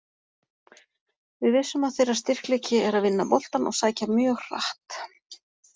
Við vissum að þeirra styrkleiki er að vinna boltann og sækja mjög hratt.